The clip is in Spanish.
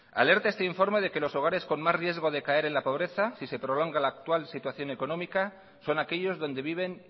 alerta este informe de que los hogares con más riesgo de caer en la pobreza si se prolonga la actual situación económica son aquellos donde viven